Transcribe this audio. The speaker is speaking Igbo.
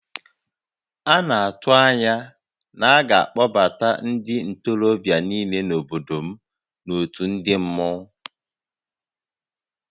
A na-atụ anya na a ga-akpọbata ndị ntorobịa niile nọ n'obodo m n'òtù ndị mmọnwu